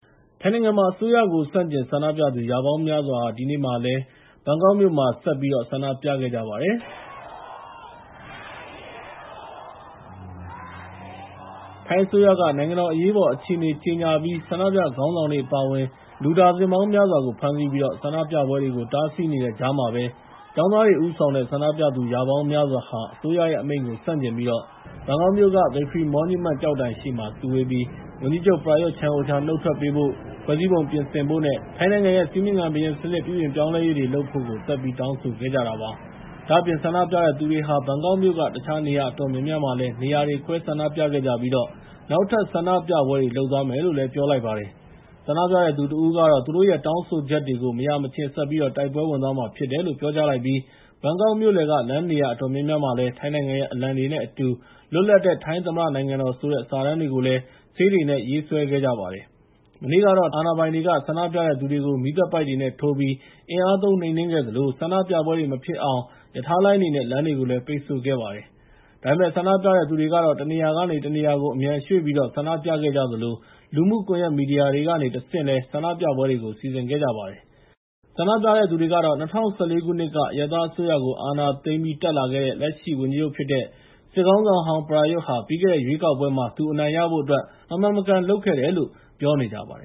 ထိုင်းနိုင်ငံမှာ အစိုးရကို ဆန့်ကျင်ဆန္ဒပြသူ ရာပေါင်းများစွာဟာ ဒီနေ့မှာလည်း ဘန်ကောက်မြို့မှာ ဆက်ပြီးတော့ ဆန္ဒပြခဲ့ကြပါတယ်။ ထိုင်းအစိုးရက နိုင်ငံတော် အရေးပေါ်အခြေအနေ ကြေညာပြီး ဆန္ဒပြခေါင်းဆောင်တွေ အပါအဝင် လူဒါဇင်ပေါင်းများစွာကို ဖမ်းဆီးပြီး ဆန္ဒပြပွဲတွေ တားဆီးနေတဲ့ကြားမှာပဲ ကျောင်းသားတွေ ဦးဆောင်တဲ့ ဆန္ဒပြတဲ့သူ ရာပေါင်းများစွာဟာ အစိုးရရဲ့အမိန့်ကို ဆန့်ကျင်ပြီး ဘန်ကောက်မြို့က Victory Monument ကျောက်တိုင်ရှေ့မှာ စုဝေးပြီးတော့ ဝန်ကြီးချုပ် ပရာယွတ်ချန်အိုချာ နုတ်ထွက်ပေးဖို့၊ ဖွဲ့စည်းပုံပြင်ဆင်ဖို့နဲ့ ထိုင်းနိုင်ငံရဲ့ စည်းမျဉ်းခံဘုရင်စနစ်ကို ပြုပြင်ပြောင်းလဲရေးတွေ လုပ်ဖို့ ဆက်ပြီး တောင်းဆိုခဲ့ကြတာပါ။ ဒါ့အပြင် ဆန္ဒပြတဲ့သူတွေဟာ ဘန်ကောက်မြို့က တခြားနေရာ အတော်များများမှာလည်း နေရာတွေခွဲ ဆန္ဒပြခဲ့ကြပြီး နောက်ထပ် ဆန္ဒပြပွဲတွေ လုပ်သွားမယ်လို့လည်း ပြောလိုက်ပါတယ်။ ဆန္ဒပြတဲ့သူတဦးကတော့ သူတို့ရဲ့ တောင်းဆိုချက်တွေကို မရမချင်း ဆက်ပြီးတော့ တိုက်ပွဲဝင်သွားမှာဖြစ်တယ်လို့ ပြောကြားလိုက်ပြီး ဘန်ကောက်မြို့က လမ်းနေရာ အတော်များများမှာလည်း ထိုင်းနိုင်ငံရဲ့ အလံတွေနဲ့ အတူ လွတ်လပ်တဲ့ ထိုင်းသမ္မတနိုင်ငံတော်ဆိုတဲ့ စာတန်းတွေကိုလည်း ဆေးတွေနဲ့ ရေးဆွဲခဲ့ကြပါတယ်။ မနေ့ကတော့ အာဏာပိုင်တွေက ဆန္ဒပြတဲ့သူတွေကို မီးသတ်ပိုက်တွေနဲ့ ထိုးပြီး အင်အားသုံး နှိမ်နင်းခဲ့သလို ဆန္ဒပြပွဲတွေ မဖြစ်အောင် ရထားလိုင်းတွေနဲ့ လမ်းတွေကို ပိတ်ဆို့ခဲ့ပါတယ်။ ဒါပေမယ့် ဆန္ဒပြတဲ့သူတွေကတော့ တနေရာကနေ တနေရာကို အမြန်ရွှေ့ပြီးတော့ ဆန္ဒပြခဲ့ကြသလို လူမှုကွန်ရက် မီဒီယာတွေကနေ တဆင့်လည်း ဆန္ဒပြပွဲတွေကို စီစဉ်ခဲ့ကြပါတယ်။ ဆန္ဒပြတဲ့သူတွေကတော့ ၂၀၁၄ ခုနှစ်က အရပ်သားအစိုးရကို အာဏာသိမ်းပြီး တက်လာတဲ့ စစ်ခေါင်းဆောင်ဟောင်း ပရာယွတ်ဟာ ပြီးခဲ့တဲ့ ရွေးကောက်ပွဲမှာ သူအနိုင်ရဖို့အတွက် မမှန်မကန် လုပ်ခဲ့တယ်လို့ ပြောနေကြပါတယ